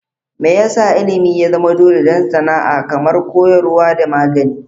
Me yasa Ilimin ya zama dole don sana'a kamar koyarwa da magani?